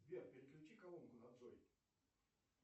сбер переключи колонку на джой